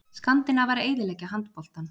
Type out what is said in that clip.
Skandinavar eyðileggja handboltann